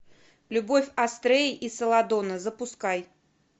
любовь астреи и селадона запускай